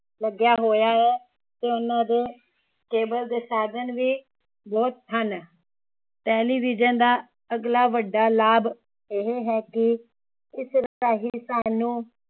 ਲੱਗਿਆ ਹੋਇਆ ਏ ਤੇ ਉਹਨਾਂ ਦੇ cable ਦੇ ਸਾਧਨ ਵੀ ਬਹੁਤ ਹਨ ਟੇਲੀਵਿਜਨ ਦਾ ਅਗਲਾ ਵੱਡਾ ਲਾਭ ਇਹ ਹੈ ਕਿ ਇਸ ਰਹੀ ਸਾਨੂੰ